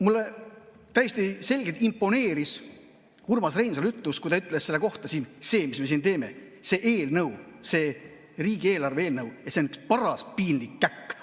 Mulle täiesti selgelt imponeeris Urmas Reinsalu ütlus, et see riigieelarve eelnõu on üks paras piinlik käkk.